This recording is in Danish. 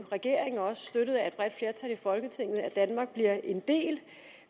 regeringen også støttet af et bredt flertal i folketinget at danmark bliver en del